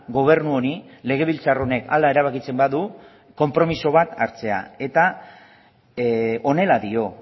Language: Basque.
gobernu honi legebiltzar honek hala erabakitzen badu konpromiso bat hartzea eta honela dio